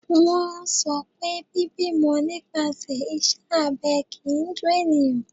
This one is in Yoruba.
Wọ́n sọ pé bíbímọ nípasẹ̀ iṣẹ́ abẹ kìí dun eniyan.